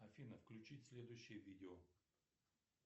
афина включить следующее видео